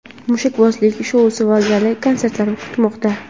mushakbozlik shousi va gala konsertlar kutmoqda.